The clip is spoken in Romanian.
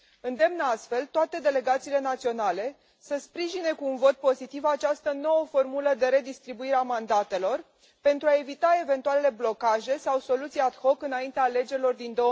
Îndemn astfel toate delegațiile naționale să sprijine cu un vot pozitiv această nouă formulă de redistribuire a mandatelor, pentru a evita eventualele blocaje sau soluții ad hoc înaintea alegerilor din